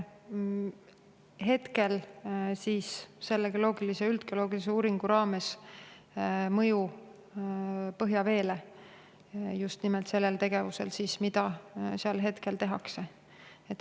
Hetkel uuritakse selles üldgeoloogilises uuringus, kas just nimelt sellel tegevusel, mida seal tehakse, on mõju põhjaveele.